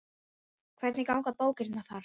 Hvernig ganga bókanir þar?